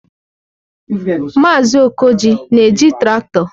Maazị Okoji na-eji traktọ?